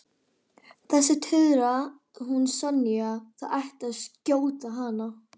Þessi tuðra, hún Sonja, það ætti að skjóta hana